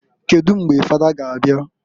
Kedu mgbe fada ga abia?